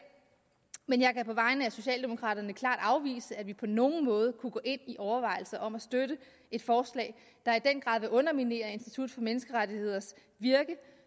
men jeg kan på vegne af socialdemokraterne klart afvise at vi på nogen måde kunne gå ind i overvejelser om at støtte et forslag der i den grad vil underminere institut for menneskerettigheders virke